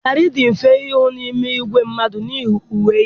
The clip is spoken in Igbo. Dare dị mfe ịhụ n'ime igwe mmadụ n'ihi uwe ya.